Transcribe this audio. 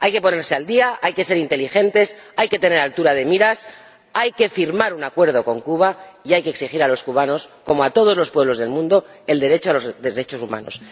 Hay que ponerse al día, hay que ser inteligentes, hay que tener altura de miras, hay que firmar un acuerdo con Cuba y hay que exigir a los cubanos, como a todos los pueblos del mundo, el respeto de los derechos humanos.